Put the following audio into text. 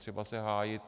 Netřeba se hájit.